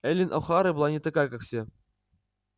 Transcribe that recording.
эллин охара была не такая как все